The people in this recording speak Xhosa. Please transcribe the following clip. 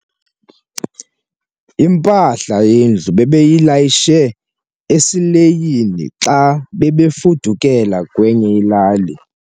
Impahla yendlu bebeyilayishe esileyini xa bebefudukela kwenye ilali.